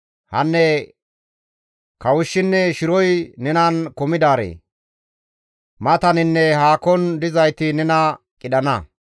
Hanne kawushshinne shiroy nenan kumidaaree! Mataninne haakon dizayti nena qidhana.